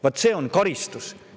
Vaat see on karistus!